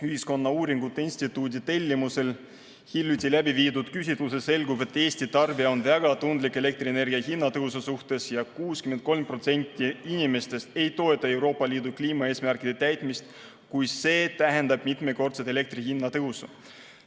Ühiskonnauuringute Instituudi tellimusel hiljuti läbiviidud küsitlusest selgub, et Eesti tarbija on väga tundlik elektrienergia hinna tõusu suhtes ja 63% inimestest ei toeta Euroopa Liidu kliimaeesmärkide täitmist, kui see tähendab elektri hinna mitmekordset tõusu.